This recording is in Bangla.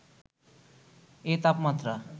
এ তাপমাত্রা